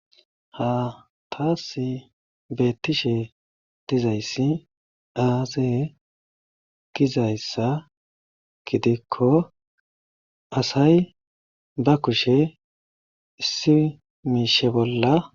Haa taassi beettishe dizayssi aaze gizayssa gidikko asay ba kushe issi miishshe bolla.